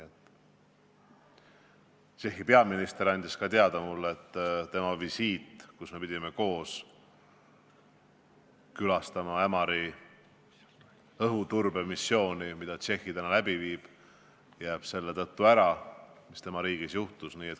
Tšehhi peaminister andis mulle teada, et tema visiit – me pidime koos külastama Ämari õhuturbemissiooni, mida Tšehhi läbi viib – jääb ära selle tõttu, mis tema riigis juhtus.